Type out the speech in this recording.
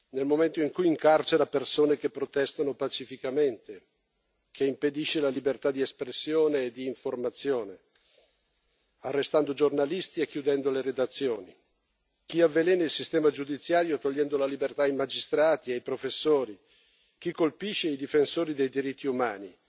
nel momento in cui incarcera persone che protestano pacificamente, impedisce la libertà di espressione e di informazione arrestando giornalisti e chiudendo le redazioni, avvelena il sistema giudiziario togliendo la libertà ai magistrati e ai professori, colpisce i difensori dei diritti umani